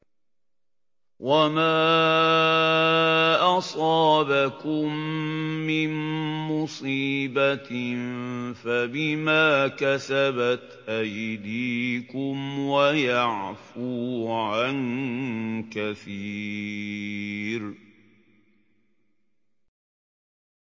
وَمَا أَصَابَكُم مِّن مُّصِيبَةٍ فَبِمَا كَسَبَتْ أَيْدِيكُمْ وَيَعْفُو عَن كَثِيرٍ